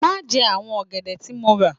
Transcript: Má jẹ àwọn ọ̀gẹ̀dẹ̀ tí mo rà l